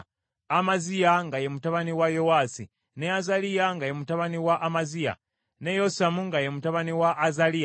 Amaziya nga ye mutabani wa Yowaasi, ne Azaliya nga ye mutabani wa Amaziya, ne Yosamu nga ye mutabani wa Azaliya.